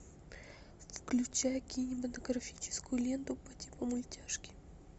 включай кинематографическую ленту по типу мультяшки